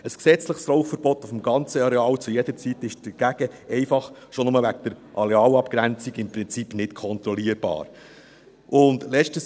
Ein gesetzliches Rauchverbot auf dem ganzen Areal zu jeder Zeit ist dagegen im Prinzip nicht kontrollierbar, schon nur wegen der Arealabgrenzung.